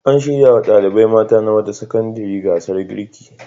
An shirya wa ɗalibai mata na wata sakandare gasar girki.